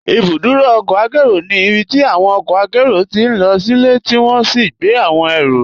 Ibùdúrò ọ̀kọ̀ àkẹro ní ibítí awọn ọ̀kọ̀ àkẹro tí lọ silẹ̀ tí wọn sì gbẹ̀ awọn èró.